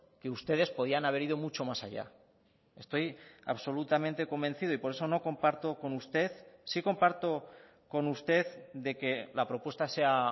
que ustedes podían haber ido mucho más allá estoy absolutamente convencido y por eso no comparto con usted sí comparto con usted de que la propuesta sea